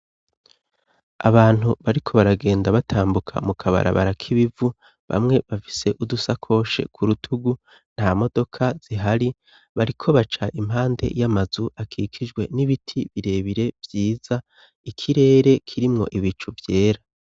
Abantu bariko baragenda batambuka mu kabarabara k'ibivu, bamwe bafise udusakoshe ku rutugu, nta modoka zihari bariko baca impande y'amazu akikijwe n'ibiti birebire vyiza, ikirere kirimwo ibicu vyera.